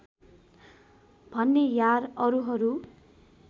भनेँ यार अरूहरू